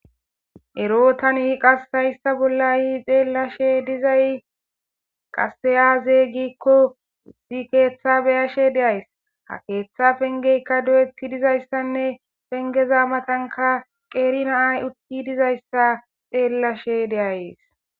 Ero tani qassayssa bollayi xeellashe dizay qaseyazeygikko si keeththa beyashe deays ha keeththa pengeykka do7etti dizayssanne pengeza matanka qeeri naay uki dizayssa xeellashe deayes